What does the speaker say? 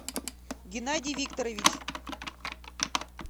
геннадий викторович